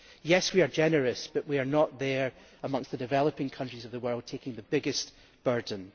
Yes, we are generous, but we are not there amongst the developing countries of the world taking the biggest burden.